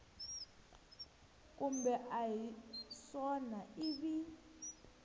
kumbe a hi swona ivi